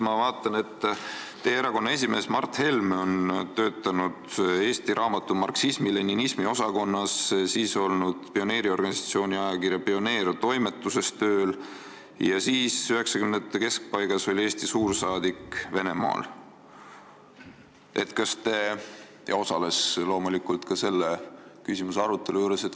Ma vaatan, et teie erakonna esimees Mart Helme on töötanud Eesti Raamatu marksismi-leninismi osakonnas, olnud tööl pioneeriorganisatsiooni ajakirja Pioneer toimetuses, 1990-ndate keskpaigas oli ta Eesti suursaadik Venemaal ja osales loomulikult ka selle küsimuse arutelul.